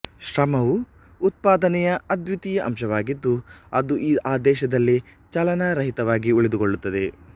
ಶ್ರಮವು ಉತ್ಪಾದನೆಯ ಅದ್ವಿತೀಯ ಅಂಶವಾಗಿದ್ದು ಅದು ಆ ದೇಶದಲ್ಲೇ ಚಲನಾರಹಿತವಾಗಿ ಉಳಿದುಕೊಳ್ಳುತ್ತದೆ